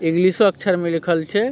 इंग्लिशो अक्षर में लिखल छै।